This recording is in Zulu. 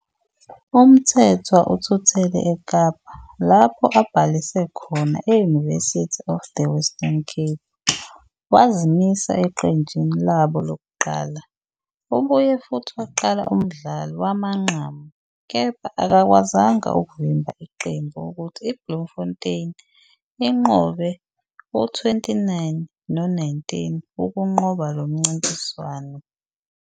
UMthethwa uthuthele eKapa, lapho abhalise khona e- University of the Western Cape, wazimisa eqenjini labo lokuqala. Ubuye futhi waqala umdlalo wamanqamu, kepha akakwazanga ukuvimba iqembu ukuthi iBloemfontein inqobe u-29-19 ukunqoba lo mncintiswano.